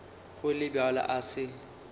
go le bjalo a se